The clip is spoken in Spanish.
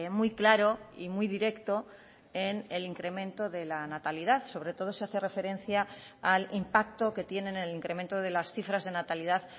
muy claro y muy directo en el incremento de la natalidad sobre todo se hace referencia al impacto que tiene en el incremento de las cifras de natalidad